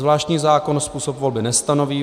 Zvláštní zákon způsob volby nestanoví.